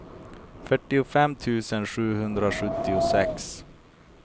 fyrtiofem tusen sjuhundrasjuttiosex